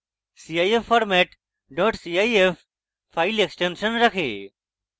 cif format cif file extension রাখে